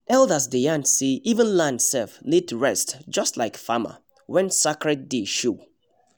elders dey yarn say “even land sef need rest just like farmer” when sacred day show